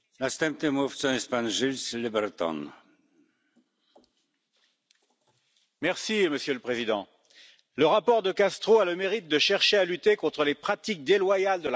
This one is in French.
Monsieur le Président, le rapport De Castro a le mérite de chercher à lutter contre les pratiques déloyales de la grande distribution, qui étranglent les agriculteurs en les contraignant à céder leurs produits à vil prix.